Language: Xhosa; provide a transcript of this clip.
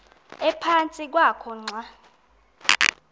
ephantsi kwakho xa